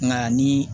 Nka ni